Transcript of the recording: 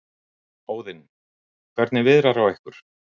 Óðinn: Hvernig viðrar á ykkur?